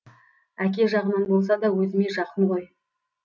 әке жағынан болса да өзіме жақын ғой